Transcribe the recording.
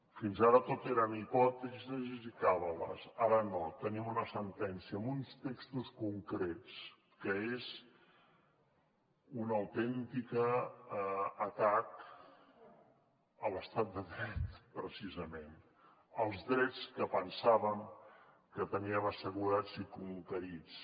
fins ara tot eren hipòtesis i càbales ara no tenim una sentència amb uns textos concrets que són un autèntic atac a l’estat de dret precisament als drets que pensàvem que teníem assegurats i conquerits